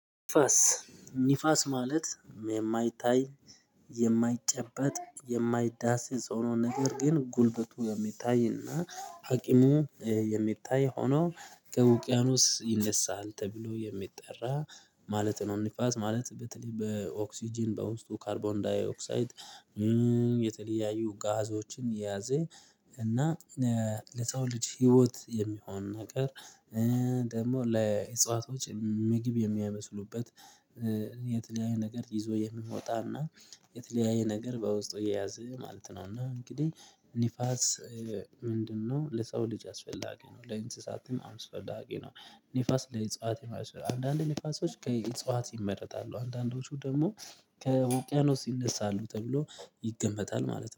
ንፋስ ንፋስ ማለት የማይታይ የማይጨበጥ የማይዳሰስ የሆነውን ነገር ግን ጉልበቱ የሚታይና ሀቂሙ የሚታይ ሆኖ ከውቅያኖስ ይነሳል ተብሎ የሚጠራ ማለት ነው። ንፋስ ማለት በተለይ በኦክስጅን በውስጡ ካርቦን ዳይኦክሳይድ የተለያዩ ጋዞችን የያዘ እና ለሰው ልጅ ህይወት የሚሆን ነገር። ደግሞ ለእጽዋቶች ምግብ የሚያመስሉበት የተለያየ ነገር ይዞ የምንወጣና የተለያየ ነገር በውስጡ የያዘ ማለት ነው። እና እንግዲህ ንፋስ ምንድነው? ለሰው ልጅ አስፈላጊ ነው ለእንስሳትም አስፈላጊ ነው። ንፋስ ለእጽዋት የማይመራ ነው። አንዳንድ ንፋሶች ከእጽዋት ይመረጣሉ አንዳንዶቹ ደግሞ ከውቅያኖስ ይነሳል ተብሎ ይገመታል ማለት ነው